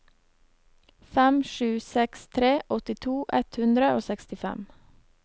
fem sju seks tre åttito ett hundre og sekstifem